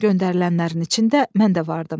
Göndərilənlərin içində mən də vardım.